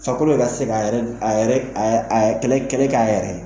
Fɛarikolo te se ka a yɛrɛ a yɛrɛ a yɛrɛ kɛlɛ kɛ a yɛrɛ ye